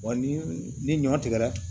Wa ni ni ɲɔ tigɛra